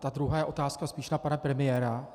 Ta druhá otázka je spíš na pana premiéra.